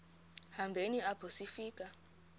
hambeni apho sifika